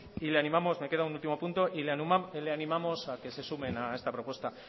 y le animamos me queda un último punto a que se sumen a esta propuesta